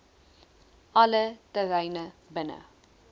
alle terreine binne